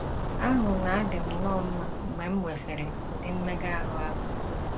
Ahụ na - adị m nnọọ mma mgbe m nwesịrị ụdị mmega ahụ ahụ.